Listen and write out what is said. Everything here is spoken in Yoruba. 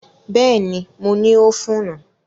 Bẹ́ẹ̀ni, mo ní ófùnù